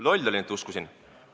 Loll olin, et uskusin!